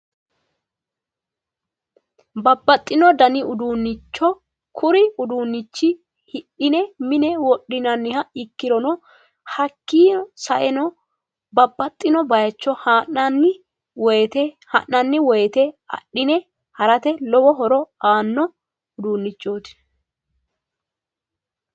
Babbaxino dani uduunnicho kuri uduunnichi hidhine mine wodhiniha ikkirono hakkii saeno babbaxxino baycho ha'nanni woyte adhine harate lowo horo aanno uduunnichooti